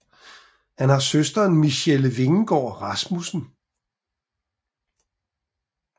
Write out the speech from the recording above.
Han har søsteren Michelle Vingegaard Rasmussen